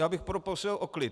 Já bych prosil o klid.